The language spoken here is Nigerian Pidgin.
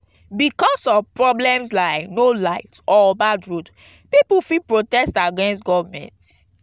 bicos of problems like no light or bad road pipo fit protest against government